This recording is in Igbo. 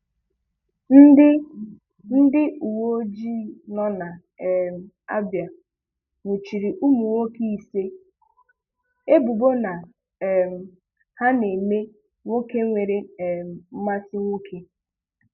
Ndị Ndị uwe ojii nọ na um Abia nwụchiri ụmụ nwoke isii, ebubo na um ha na-eme nwoke nwere um mmasị nwoke.